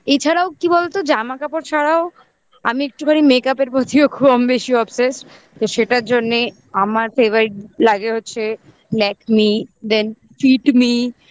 এছাড়াও কি বলতো জামা কাপড় ছাড়াও আমি একটুখানি makeup র মধ্যেও খুব বেশি obsesse তো সেটার জন্যে আমার favorite লাগে হচ্ছে Lakme then Fitme